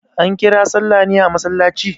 An kira sallah ne a masallaci?